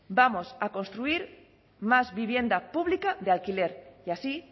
vamos a construir más vivienda pública de alquiler y así